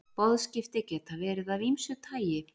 Boðskipti geta verið af ýmsu tagi.